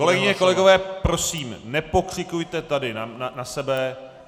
Kolegyně, kolegové, prosím, nepokřikujte tady na sebe.